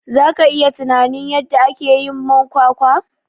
zaka iya tunamin yadda akeyin man kwakwa?